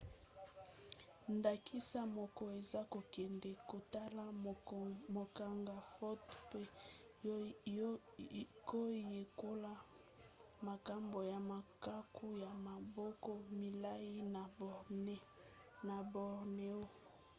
ndakisa moko eza kokende kotala kokanga foto mpe koyekola makambo ya makaku ya maboko milai na borneo